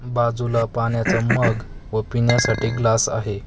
बाजूला पाण्याचा मग व पिण्यासाठी ग्लास आहे .